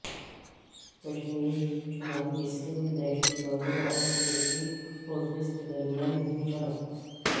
کشمیر کے شمالی حصہ میں دہشت گردوں اور سیکورٹی فورسز کے درمیان ہوئی جھڑپ